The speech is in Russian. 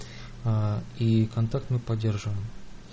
и контакт мы поддерживаем